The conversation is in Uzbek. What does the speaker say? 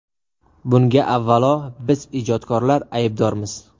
Bunga avvalo biz ijodkorlar aybdormiz.